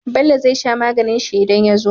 Bello zai sha maganin shi idan ya zo